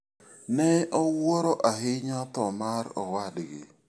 Ne owuoro ahinya tho mar owadgi.